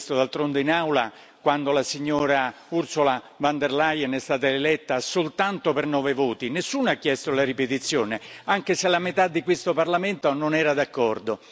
D'altronde in Aula, quando la signora Ursula von der Leyen è stata eletta soltanto per nove voti, nessuno ha chiesto la ripetizione, anche se la metà di questo Parlamento non era d'accordo.